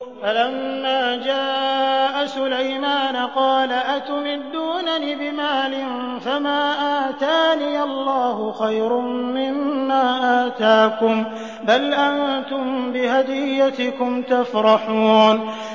فَلَمَّا جَاءَ سُلَيْمَانَ قَالَ أَتُمِدُّونَنِ بِمَالٍ فَمَا آتَانِيَ اللَّهُ خَيْرٌ مِّمَّا آتَاكُم بَلْ أَنتُم بِهَدِيَّتِكُمْ تَفْرَحُونَ